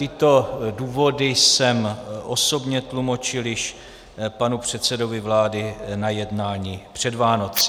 Tyto důvody jsem osobně tlumočil již panu předsedovi vlády na jednání před Vánoci.